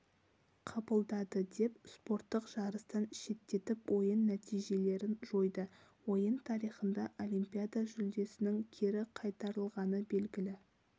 қабылдады деп спорттық жарыстан шеттетіп ойын нәтижелерін жойды ойын тарихында олимпиада жүлдесінің кері қайтарлығаны белгілі